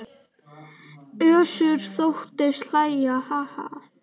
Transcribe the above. Össur þóttist hlæja:- Ha ha.